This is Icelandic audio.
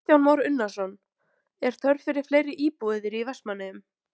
Kristján Már Unnarsson: Er þörf fyrir fleiri íbúðir í Vestmannaeyjum?